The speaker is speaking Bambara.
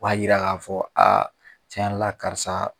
O b'a yira k'a fɔ a tiɲɛ yɛrɛ la karisa.